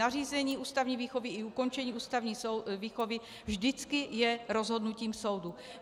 Nařízení ústavní výchovy i ukončení ústavní výchovy vždycky je rozhodnutím soudu.